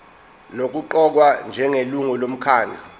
nokuqokwa njengelungu lomkhandlu